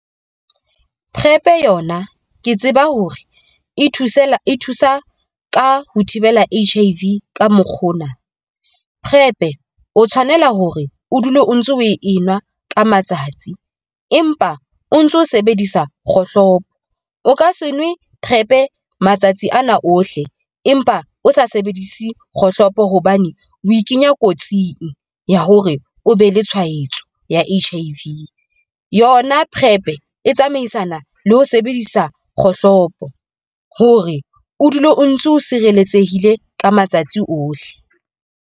Prep yona ke tseba hore e thuse fela e thusa ka ho thibela H_I_V ka mokgwa ona. PrEP E o tshwanela hore o dule o ntso o e nwa ka matsatsi empa o ntso sebedisa kgohlopo. O ka se nwe PrEp e matsatsi ana ohle, empa o sa sebedise kgohlopo hobane o ikenya kotsing ya hore o be le tshwaetso ya H_I_V. Yona PrEP E e tsamaisana le ho sebedisa kgohlopo hore o dule o ntso sireletsehile ka matsatsi ohle.